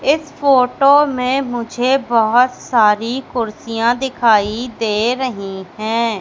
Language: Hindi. इस फोटो में मुझे बहोत सारी कुर्सियां दिखाई दे रही है।